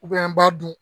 an b'a dun